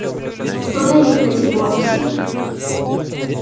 что дают эти бонусы